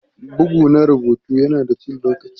Bugu na rubutu yana da cin lokaci.